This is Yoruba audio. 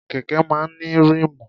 Kẹ̀kẹ́ máa ń ní ríìmù.